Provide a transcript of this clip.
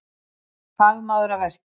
Fagmaður að verki